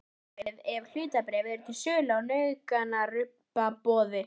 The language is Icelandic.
Sama á við ef hlutabréf eru til sölu á nauðungaruppboði.